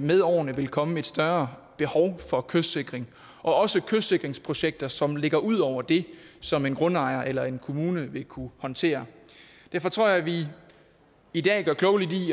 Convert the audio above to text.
med årene vil komme et større behov for kystsikring også kystsikringsprojekter som ligger ud over det som en grundejer eller en kommune vil kunne håndtere derfor tror jeg at vi i dag gør klogt i